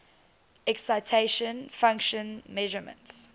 excitation function measurements